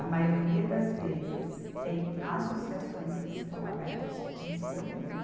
A maioria das vezes tem associações que estão abertas só para receber o leite.